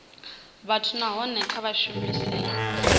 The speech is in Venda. vhathu nahone kha vha shumese